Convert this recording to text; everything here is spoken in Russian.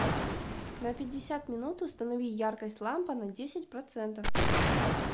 на пятьдесят минут установи яркость лампа на десять процентов